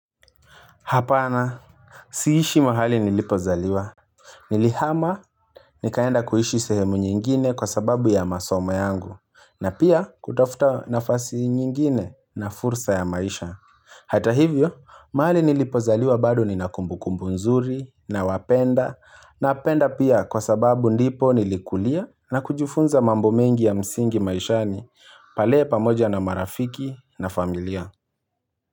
Hapana siishi mahali nilipozaliwa Nilihama nikaenda kuishi sehemu nyingine kwa sababu ya masoma yangu na pia kutafuta nafasi nyingine na fursa ya maisha Hata hivyo mahali nilipozaliwa bado nina kumbukumbu nzuri na wapenda Napenda pia kwa sababu ndipo nilikulia na kujifunza mambo mengi ya msingi maishani pale pamoja na marafiki na familia.